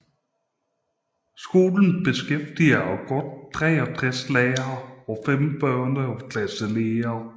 Skolen beskæftiger godt 63 lærere og 5 børnehaveklasseledere